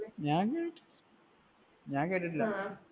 ഞാൻ ഞാൻ കേട്ടിട്ടില്ല.